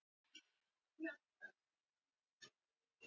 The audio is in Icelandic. Greipur, áttu tyggjó?